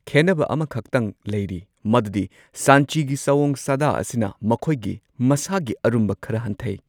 ꯈꯦꯟꯅꯕ ꯑꯃꯈꯛꯇꯪ ꯂꯩꯔꯤ ꯃꯗꯨꯗꯤ ꯁꯟꯆꯤꯒꯤ ꯁꯥꯑꯣꯡ ꯁꯥꯗꯥ ꯑꯁꯤꯅ ꯃꯈꯣꯏꯒꯤ ꯃꯁꯥꯒꯤ ꯑꯔꯨꯝꯕ ꯈꯔ ꯍꯟꯊꯩ꯫